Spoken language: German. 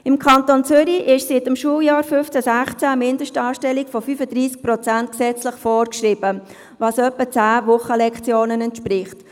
Im Kanton Zürich ist seit dem Schuljahr 2015/16 eine Mindestanstellung von 35 Prozent gesetzlich vorgeschrieben, was etwa zehn Wochenlektionen entspricht.